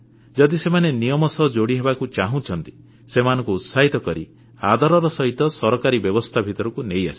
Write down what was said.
ଯଦି ସେମାନେ ନିୟମ ସହ ଯୋଡ଼ି ହେବାକୁ ଚାହୁଁଛନ୍ତି ସେମାନଙ୍କୁ ଉତ୍ସାହିତ କରି ଆଦରର ସହିତ ସରକାରୀ ବ୍ୟବସ୍ଥା ଭିତରକୁ ନେଇ ଆସିବା